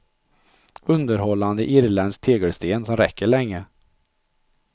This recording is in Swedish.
Underhållande irländsk tegelsten som räcker länge.